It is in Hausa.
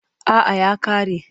A’a ya ƙare.